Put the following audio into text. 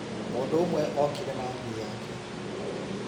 Mũndũ ũmwe okire na ngui yake.